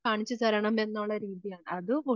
കാണിച്ചു തരണമെന്നാനുള്ള രീതിയാണ് അത്